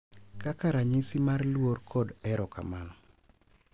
Kaka ranyisi mar luor kod erokamano